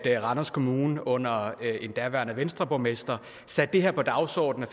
randers kommune under en daværende venstreborgmester satte det her på dagsordenen